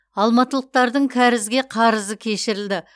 алматылықтардың кәрізге қарызы кешірілді